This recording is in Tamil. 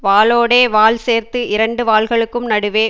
வாலோடே வால் சேர்த்து இரண்டு வால்களுக்கும் நடுவே